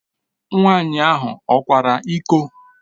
Nwaanyị ahụ ọ kwara iko?